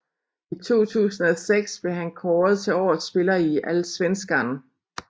I 2006 blev han kåret til årets spiller i Allsvenskan